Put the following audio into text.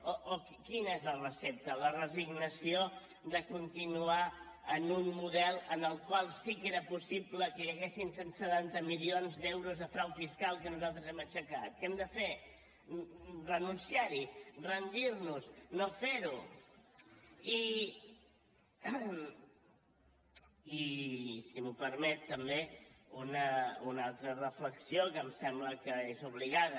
o quina és la recepta la resignació de continuar en un model en el qual sí que era possible que hi haguessin cent i setanta milions d’euros de frau fiscal que nosaltres hem aixecat què hem de fer renunciar hi rendir nos no fer ho i si m’ho permet també una altra reflexió que em sembla que és obligada